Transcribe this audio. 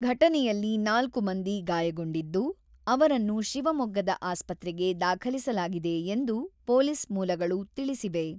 ಘಟನೆಯಲ್ಲಿ ನಾಲ್ಕು ಮಂದಿ ಗಾಯಗೊಂಡಿದ್ದು, ಅವರನ್ನು ಶಿವಮೊಗ್ಗದ ಆಸ್ಪತ್ರೆಗೆ ದಾಖಲಿಸಲಾಗಿದೆ ಎಂದು ಪೊಲೀಸ್ ಮೂಲಗಳು ತಿಳಿಸಿವೆ.